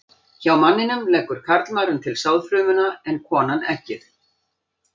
Hjá manninum leggur karlmaðurinn til sáðfrumuna en konan eggið.